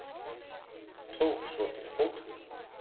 Tók svo til fótanna.